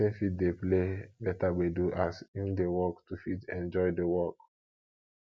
person fit dey play better gbedu as im dey work to fit enjoy di work